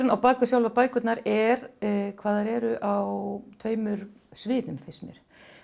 á bak við sjálfar bækurnar er hvað þær eru á tveimur sviðum finnst mér